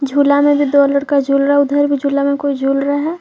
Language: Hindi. झूला में भी दो लड़का झूला रहा है उधर भी झूला में कोई झूल रहा है।